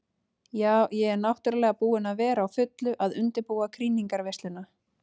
Ja, ég er náttúrulega búin að vera á fullu að undirbúa krýningarveisluna.